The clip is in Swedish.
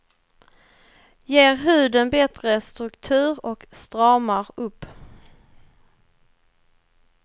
Ger huden bättre struktur och stramar upp.